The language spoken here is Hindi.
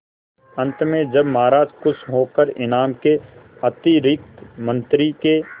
अंत में जब महाराज खुश होकर इनाम के अतिरिक्त मंत्री के